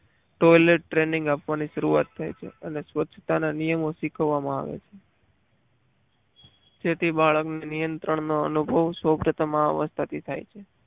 Toilet training આપવાની શરૂઆત થાય છે અને સ્વચ્છતા ના નિયમો શીખવવામાં આવે છે જેથી બાળકને નિયંત્રણનો અનુભવ અવસ્થાથી થાય છે.